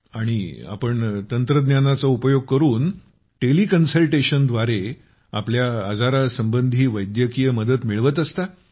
आणि आपण तंत्रज्ञानाचा उपयोग करून टेलि कन्सल्टेशनद्वारे आपल्या आजारासंबंधी वैद्यकीय मदत मिळवत असता